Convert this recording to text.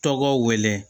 Tɔgɔ wele